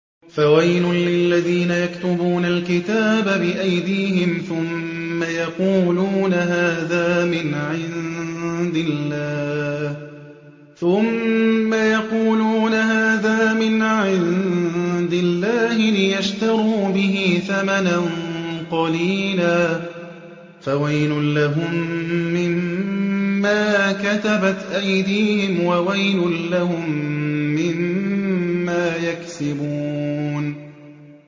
فَوَيْلٌ لِّلَّذِينَ يَكْتُبُونَ الْكِتَابَ بِأَيْدِيهِمْ ثُمَّ يَقُولُونَ هَٰذَا مِنْ عِندِ اللَّهِ لِيَشْتَرُوا بِهِ ثَمَنًا قَلِيلًا ۖ فَوَيْلٌ لَّهُم مِّمَّا كَتَبَتْ أَيْدِيهِمْ وَوَيْلٌ لَّهُم مِّمَّا يَكْسِبُونَ